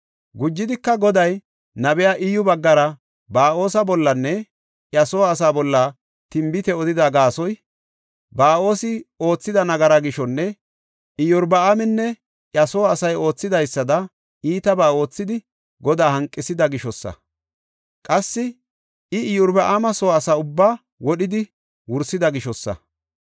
Gujidika, Goday, nabiya Iyyu baggara Ba7oosa bollanne iya soo asaa bolla tinbite odida gaasoy, Ba7oosi oothida nagara gishonne Iyorbaaminne iya soo asay oothidaysada iitabaa oothidi, Godaa hanqethida gishosa. Qassi I Iyorbaama soo asa ubbaa wodhidi wursida gishosa.